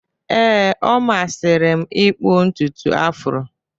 Ee, ọ masịrị m ịkpụ ntutu Afro